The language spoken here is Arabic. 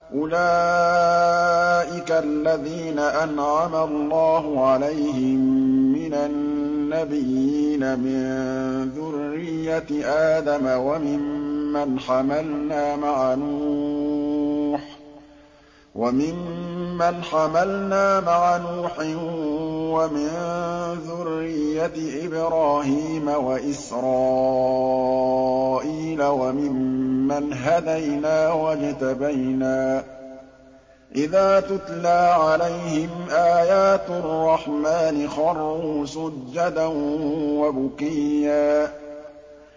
أُولَٰئِكَ الَّذِينَ أَنْعَمَ اللَّهُ عَلَيْهِم مِّنَ النَّبِيِّينَ مِن ذُرِّيَّةِ آدَمَ وَمِمَّنْ حَمَلْنَا مَعَ نُوحٍ وَمِن ذُرِّيَّةِ إِبْرَاهِيمَ وَإِسْرَائِيلَ وَمِمَّنْ هَدَيْنَا وَاجْتَبَيْنَا ۚ إِذَا تُتْلَىٰ عَلَيْهِمْ آيَاتُ الرَّحْمَٰنِ خَرُّوا سُجَّدًا وَبُكِيًّا ۩